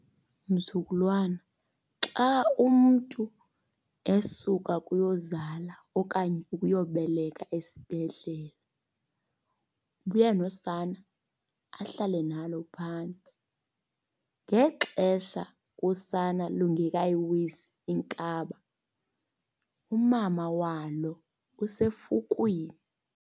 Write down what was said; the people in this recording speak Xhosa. Mzukulwana, xa umntu esuka kuyozala okanye ukuyobeleka esibhedlele ubuya nosana ahlale nalo phantsi. Ngexesha usana lungekayiwisi inkaba, umama walo usefukwini.